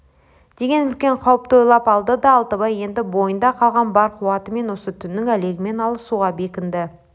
деген үлкен қауіпті ойлап алды да алтыбай енді бойында қалған бар қуатымен осы түннің әлегімен алысуға бекінді